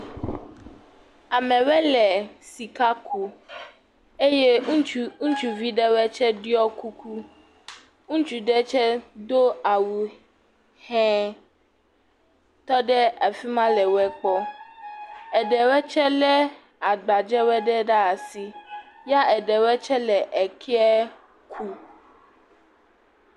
Amewo le sika ku eye ŋutsu ŋutsuvi ɖe woe tsie ɖiɔ kuku. ŋutsu ɖe tsie do awu hee tɔ ɖe afi ma le wo kpɔ. Eɖewoe tse le agbadze woe ɖe ɖa si ya eɖewoe tse le eke kuu.